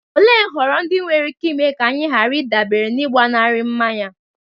Olee nhọrọ ndị nwere ike ime ka anyị ghara ịdabere n'ịgbanarị mmanya?